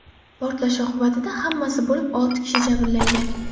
Portlash oqibatida hammasi bo‘lib olti kishi jabrlangan.